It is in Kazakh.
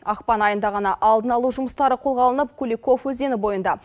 ақпан айында ғана алдын алу жұмыстары қолға алынып куликов өзені бойында